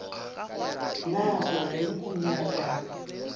na o reng o nyaka